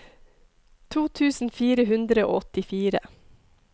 to tusen fire hundre og åttifire